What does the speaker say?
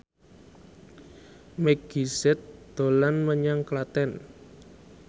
Meggie Z dolan menyang Klaten